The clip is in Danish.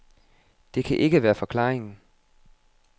Det kan ikke være forklaringen.